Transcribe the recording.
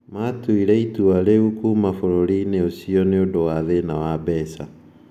Maatuire itua rĩa kuuma bũrũri-inĩ ũcio nĩ ũndũ wa thĩna wa mbeca.